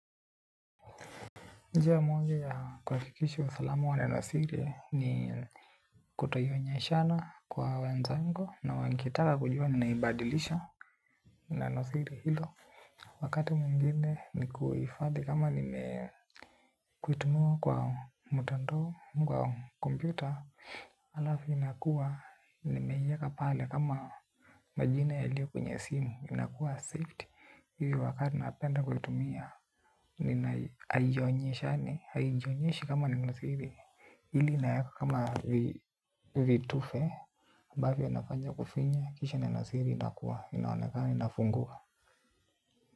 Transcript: Njia moja ya kuhakikisha usalama wa nanosiri ni kutoionyeshana kwa wenzangu na wakitaka kujua ninaibadilisha nenosiri hilo wakati mwingine ni kuifadhi kama nime kutumiwa kwa mutandao kwa kompyuta alafu inakuwa nimeiweka pale kama majina yaliyo kwenye simu inakuwa safety hivi wakati napenda kutumia nina haijonyesha haijonyeshi kama nina siri hili inaeka kama vitufe ambavyo inafanya kufinya kisha neno siri inakuwa inafungua.